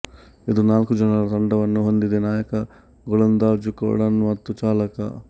ಇದು ನಾಲ್ಕು ಜನರ ತಂಡವನ್ನು ಹೊಂದಿದೆ ನಾಯಕ ಗೋಲಂದಾಜು ಕೋಡರ್ನ ಮತ್ತು ಚಾಲಕ